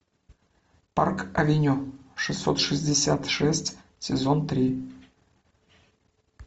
парк авеню шестьсот шестьдесят шесть сезон три